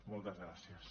moltes gràcies